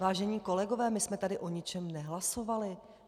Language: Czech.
Vážení kolegové, my jsme tady o ničem nehlasovali.